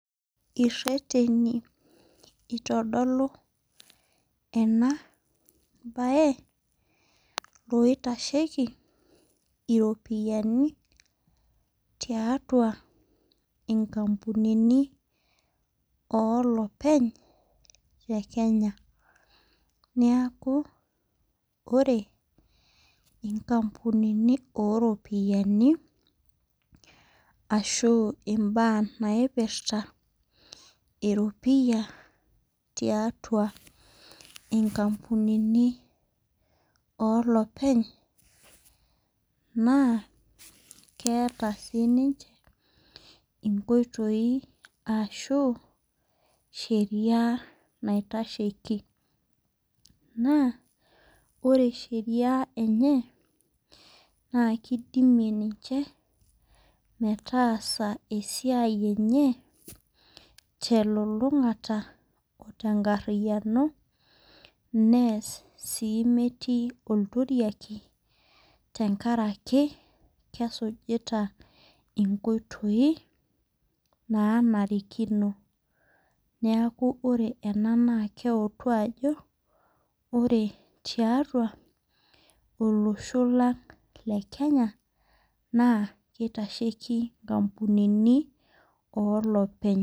Ireteni itodolu ena baye loitasheiki iropiani tiatua inkampunini oo lopeny le Kenya. Neaku ore inkampunini oo ropiani ashu imbaa naipirta eropiya tiatua inkampunini olopeny, naa keata sii ninche inkoitoi ashu sheria naitasheiki. Naa ore sheria enye naa keidimie ninche metaasa esiai enye telulung'ata o tenkariyano neas sii metii olturiaki tenkaraki kesujita inkoitoi naanariko, neaku ore ena naa keutu ajo ore tiatua olosho lang' le Kenya naa keitasheiki inkampunini oo lopeny.